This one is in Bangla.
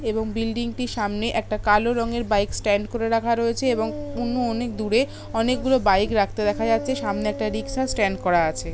এবং বিল্ডিং টির সামনে একটা কালো রঙের বাইক স্ট্যান্ড করে রাখা রয়েছে এবং কোনও অনেক দূরে অনেক গুলো বাইক রাখতে দেখা যাচ্ছে সামনে একটা রিক্সা স্ট্যান্ড করা আছে।